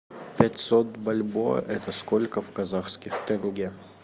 пятьсот бальбоа это сколько в казахских тенге